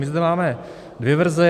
My zde máme dvě verze.